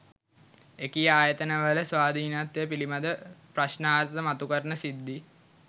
එකී ආයතන වල ස්වාධීනත්වය පිළිබඳව ප්‍රශ්ණාර්ථ මතුකරන සිද්ධි